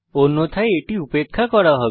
অন্যথায় এটি উপেক্ষা করা হবে